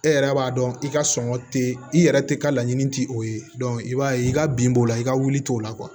E yɛrɛ b'a dɔn i ka sɔngɔ te yen i yɛrɛ te ka laɲini ti o ye i b'a ye i ka bin b'o la i ka wuli t'o la